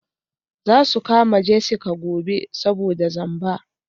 Za su kama Jessica gobe saboda zamba.